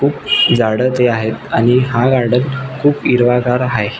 खुप झाड ते आहेत आणि हा गार्डन खुप हिरवगार आहे.